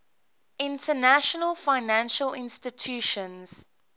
international financial institutions